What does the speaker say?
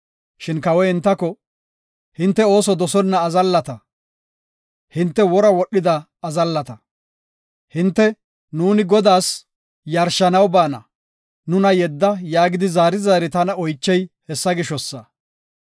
Shin kawoy, “Hinte ooso dosonna azallata; hinte wora wodhida azallata. Hinte, ‘Nuuni Godaas yarshanaw baana; nuna yedda’ yaagidi zaari zaari tana oychey hessa gishosa.